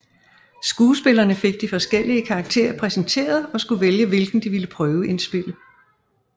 Skuespillerne fik de forskellige karakterer præsenteret og skulle vælge hvilken de ville prøveindspille